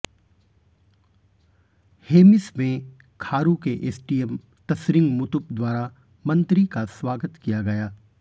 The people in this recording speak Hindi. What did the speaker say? हेमिस में खारू के एसडीएम तसरिंग मुतुप द्वारा मंत्री का स्वागत किया गया